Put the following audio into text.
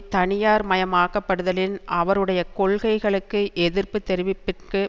தனியார் மயமாக்கப்படுதலின் அவருடைய கொள்கைளுக்கு எதிர்ப்பு தெரிவிப்பிற்கு